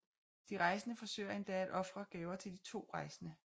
De forsøger endda at ofre gaver til de to rejsende